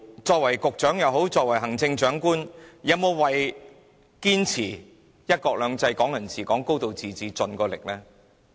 作為局長、行政長官，他們有否盡力堅持"一國兩制"、"港人治港"、"高度自治"呢？